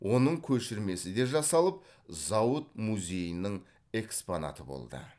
оның көшірмесі де жасалып зауыт музейінің экспонаты болды